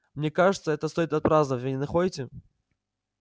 мне кажется это стоит отпраздновать вы не находите